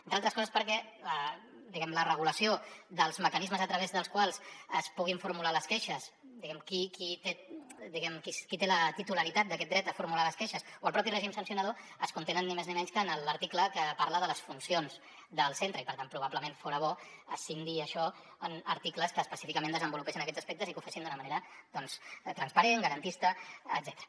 entre altres coses perquè la regulació dels mecanismes a través dels quals es puguin formular les queixes diguem ne qui té la titularitat d’aquest dret a formular les queixes o el propi règim sancionador es contenen ni més ni menys que en l’article que parla de les funcions del centre i per tant probablement fora bo escindir això en articles que específicament desenvolupessin aquests aspectes i que ho fessin d’una manera doncs transparent garantista etcètera